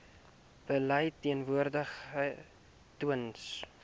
beleid verteenwoordig tewens